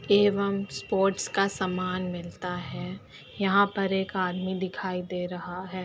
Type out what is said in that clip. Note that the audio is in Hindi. एवं स्पोर्ट्स का सामान मिलता है यहाँं पर एक आदमी दिखाई दे रहा है।